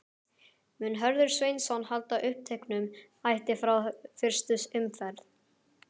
Mun Hörður Sveinsson halda uppteknum hætti frá fyrstu umferð?